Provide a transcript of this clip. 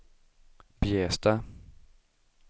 Bjästa